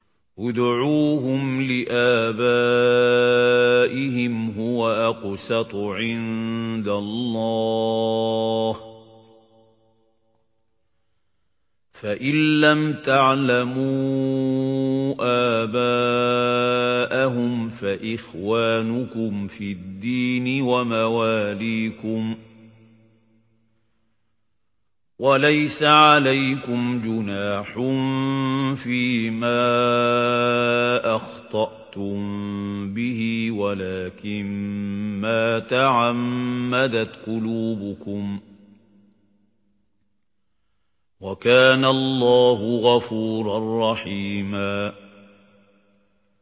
ادْعُوهُمْ لِآبَائِهِمْ هُوَ أَقْسَطُ عِندَ اللَّهِ ۚ فَإِن لَّمْ تَعْلَمُوا آبَاءَهُمْ فَإِخْوَانُكُمْ فِي الدِّينِ وَمَوَالِيكُمْ ۚ وَلَيْسَ عَلَيْكُمْ جُنَاحٌ فِيمَا أَخْطَأْتُم بِهِ وَلَٰكِن مَّا تَعَمَّدَتْ قُلُوبُكُمْ ۚ وَكَانَ اللَّهُ غَفُورًا رَّحِيمًا